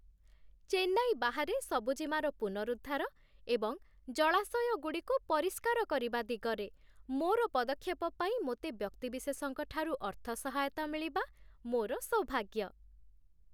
ଚେନ୍ନାଇ ବାହାରେ ସବୁଜିମାର ପୁନରଦ୍ଧାର ଏବଂ ଜଳାଶୟଗୁଡ଼ିକୁ ପରିଷ୍କାର କରିବା ଦିଗରେ ମୋର ପଦକ୍ଷେପ ପାଇଁ ମୋତେ ବ୍ୟକ୍ତିବିଶେଷଙ୍କଠାରୁ ଅର୍ଥ ସହାୟତା ମିଳିବା ମୋର ସୌଭାଗ୍ୟ।